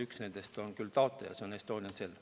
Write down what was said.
Üks nendest on küll taotleja, see on Estonian Cell.